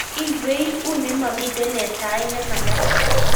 iywei uni momaitu eng' sait ne mekat